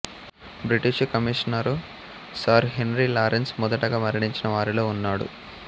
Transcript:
British commissioner sir Henry Lawrence మొదటగా మరణించిన వారిలో ఉన్నాడు